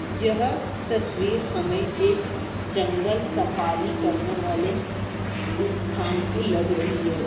यह तस्वीर हमें एक जंगल सफारी करने वाले स्थान की लग रही है।